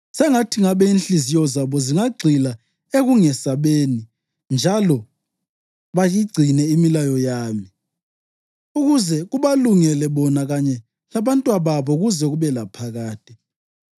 Sengathi ngabe inhliziyo zabo zingagxila ekungesabeni njalo bayigcine imilayo yami, ukuze kubalungele bona kanye labantwababo kuze kube laphakade!